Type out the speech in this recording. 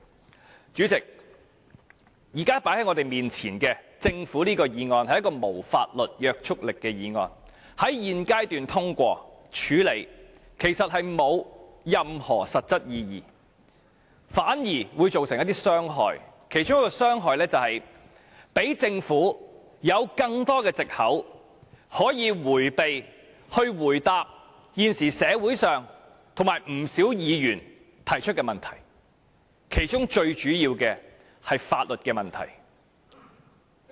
代理主席，現時放在我們眼前的這項政府議案，是一項無法律約束力的議案，在現階段處理和通過，其實並無任何實質意義，反倒會造成一些傷害，其中一項傷害是讓政府有更多藉口，迴避回答現時社會人士及不少議員提出的問題，當中最主要的是法律問題。